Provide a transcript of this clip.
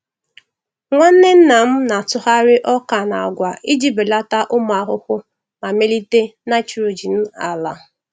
Nwanne nnam na-atụgharị ọka na agwa iji belata ụmụ ahụhụ ma melite nitrogen ala.